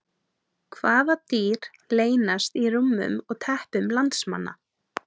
Hvaða dýr leynast í rúmum og teppum landsmanna?